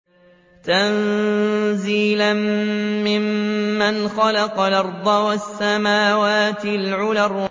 تَنزِيلًا مِّمَّنْ خَلَقَ الْأَرْضَ وَالسَّمَاوَاتِ الْعُلَى